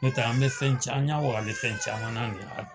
N'o tɛ an bɛ fɛn ca an ɲɛwaga bɛ fɛn caman na